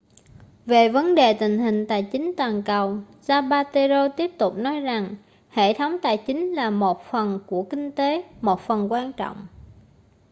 về vấn đề tình hình tài chính toàn cầu zapatero tiếp tục nói rằng hệ thống tài chính là một phần của kinh tế một phần quan trọng